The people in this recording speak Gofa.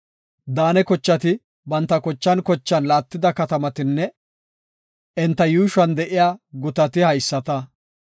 Daane kochati banta kochan kochan laattida katamatinne enta yuushuwan de7iya gutati haysata.